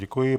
Děkuji.